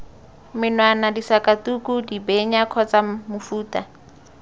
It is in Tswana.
menwana disakatuku dibenya kgotsa mofuta